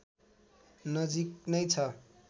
नजिक नै छ